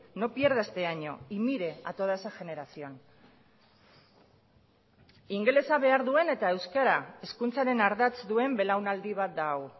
no pierda este año y mire a toda esa generación ingelesa behar duen eta euskara hezkuntzaren ardatz duen belaunaldi bat da hau